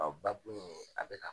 Batu ninnu a bɛ na